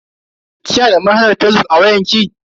Kina da manhajar fazbuk a wayar ki?